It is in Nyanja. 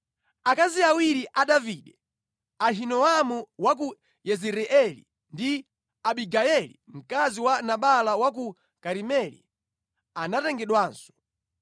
Akazi awiri a Davide, Ahinoamu wa ku Yezireeli ndi Abigayeli mkazi wa Nabala wa ku Karimeli anatengedwanso.